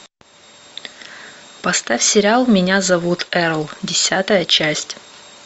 поставь сериал меня зовут эрл десятая часть